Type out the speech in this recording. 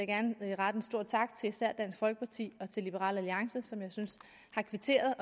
gerne rette en stor tak til især dansk folkeparti og liberal alliance som jeg synes har kvitteret